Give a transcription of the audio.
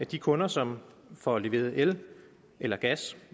de kunder som får leveret el eller gas